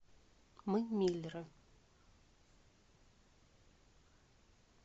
мы миллеры